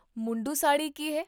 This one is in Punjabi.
ਮੁੰਡੂ ਸਾੜ੍ਹੀ ਕੀ ਹੈ?